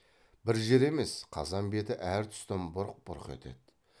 бір жер емес қазан беті әр тұстан бұрқ бұрқ етеді